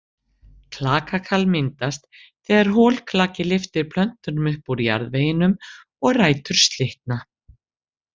Klakakal myndast þegar holklaki lyftir plöntunum upp úr jarðveginum og rætur slitna.